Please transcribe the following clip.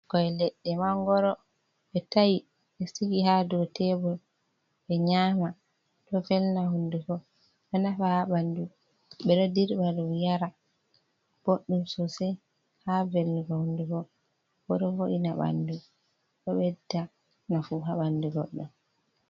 Ɓikkkoi leɗɗe mangoro be ta'i ɓe sigi ha dow tebul ɓe nyama. Ɗo velna hunduko, ɗo nafa haa ɓandu, ɓeɗo dirɓa ɗum yara boɗɗum sosai haa velnugo hunduko, bo ɗo vo'ina ɓandu, ɗo ɓedda nafu haa ɓandu goɗɗo.